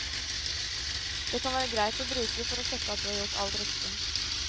Det kan være greit å bruke for å sjekke at du har gjort alt riktig.